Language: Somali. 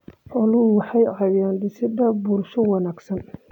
Xooluhu waxay ka caawiyaan dhisidda bulsho wanaagsan.